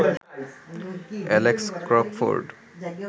Alex Crockford